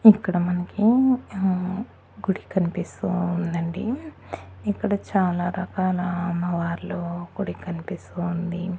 ఇక్కడ మనకి ఆహ్ గుడి కన్పిస్తూ ఉందండి ఇక్కడ చాలా రకాల అమ్మవార్లు గుడి కన్పిస్తూ ఉంది.